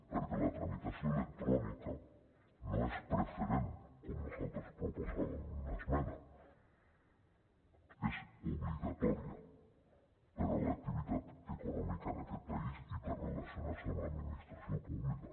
perquè la tramitació electrònica no és preferent com nosaltres proposàvem en una esmena és obligatòria per a l’activitat econòmica en aquest país i per relacionar se amb l’administració pública